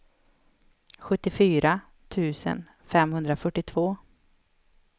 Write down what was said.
sjuttiofyra tusen femhundrafyrtiotvå